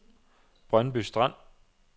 Brøndby Strand